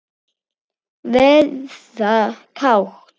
Verða kát.